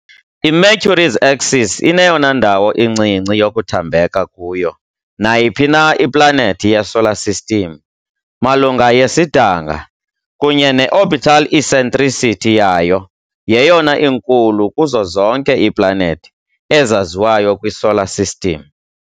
I-Mercury's axis ineyona ndawo incinci yokuthambeka kuyo nayiphi na iplanethi yeSolar System malunga yesidanga, kunye ne-orbital eccentricity yayo yeyona inkulu kuzo zonke iiplanethi ezaziwayo kwiSolar System.